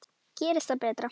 Gerist það betra.